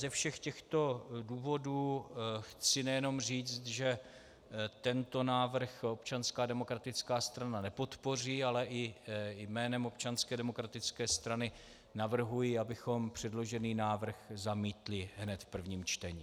Ze všech těchto důvodů chci nejenom říct, že tento návrh Občanská demokratická strana nepodpoří, ale i jménem Občanské demokratické strany navrhuji, abychom předložený návrh zamítli hned v prvním čtení.